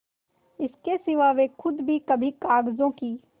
इसके सिवा वे खुद भी कभी कागजों की